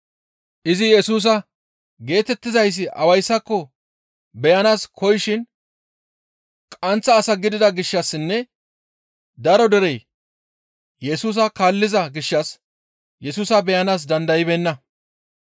Izi Yesusa geetettizayssi awayssako beyanaas koyishin qaanththa asa gidida gishshassinne daro derey Yesusa kaalliza gishshas Yesusa beyanaas dandaybeenna.